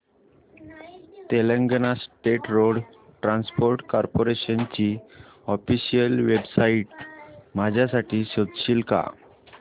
Telangana state road transport corporation ची official website माझ्यासाठी शोधशील का